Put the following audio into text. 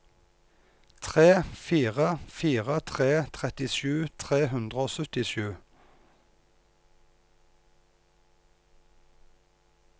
tre fire fire tre trettisju tre hundre og syttisju